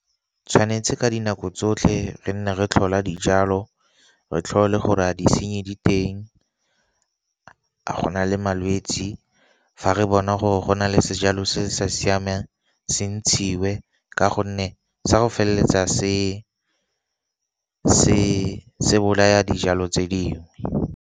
Tshwanetse ka dinako tsotlhe re nne re tlhola dijalo, re tlhole gore a disenyi diteng, a go na le malwetsi. Fa re bona gore go na le sejalo se sa siamang se ntshiwe ka gonne sa go feleletsa se bolaya dijalo tse dingwe.